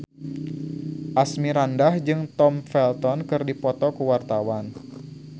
Asmirandah jeung Tom Felton keur dipoto ku wartawan